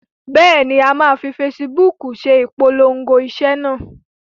Bẹ́ẹ̀ ni, a máa fi fesibúùkù se ìpolongo iṣẹ́ náà.